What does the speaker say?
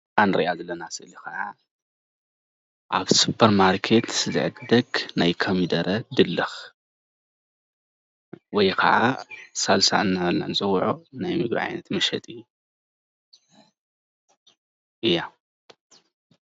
እዛ ንሪኣ ዘለና ስእሊ ከዓ ኣብ ሱፐርማርኬት ዝዕደግ ናይ ኮሚደረ ድልክ ወይ ከዓ ሳልሳ እናበልና ንፅዉዕ ናይ ምግቢ ዓይነት መሸጢ እያ